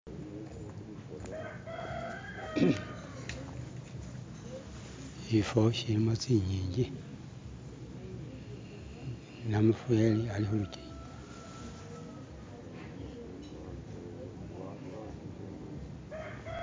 Shifo shilimo tsi'ngingi, namuferi ali khulukingi.